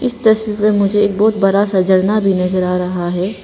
इस तस्वीर मे मुझे एक बहुत बड़ा झरना भी नजर आ रहा है।